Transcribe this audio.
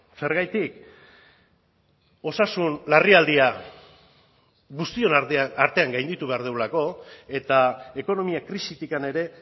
zergatik osasun larrialdia guztion artean gainditu behar dugulako eta ekonomia krisitikan ere